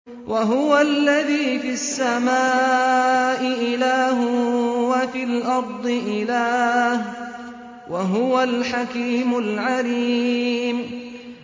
وَهُوَ الَّذِي فِي السَّمَاءِ إِلَٰهٌ وَفِي الْأَرْضِ إِلَٰهٌ ۚ وَهُوَ الْحَكِيمُ الْعَلِيمُ